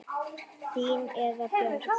Þín Heiða Björg.